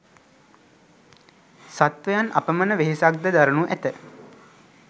සත්වයන් අපමණ වෙහෙසක් ද දරනු ඇත.